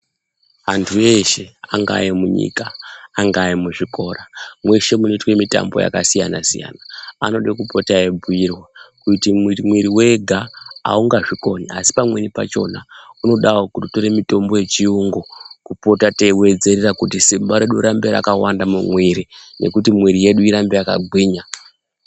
Antu eshe angaa emunyika, angaa emuzvikora, mweshe munoitwe mitambo yakasiyana siyana anode kupota eibhuyirwa kuti mwiri wega aungazvikoni asi pamweni pachona unodawo kutotore mitombo yechiyungu, kupota teiwedzerera kuti simba redu rirambe rakawanda mumwiri ngekuti mwiri yedu irambe yakagwinya.